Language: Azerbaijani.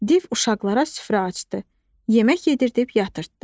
Div uşaqlara süfrə açdı, yemək yedirtdib yatırtdı.